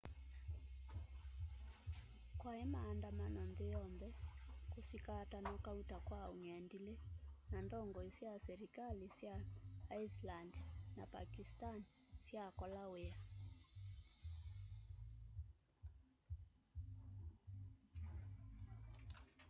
kwai maandamano nthi yonthe kusikatanwa kauta kwa ung'endili na ndongoi sya silikali sya iceland na pakistan syakola wia